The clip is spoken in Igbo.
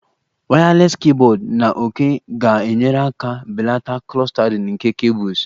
Wireless keyboard na òké ga-enyere aka belata clustering nke cables